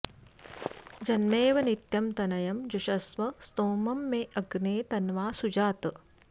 जन्मेव नित्यं तनयं जुषस्व स्तोमं मे अग्ने तन्वा सुजात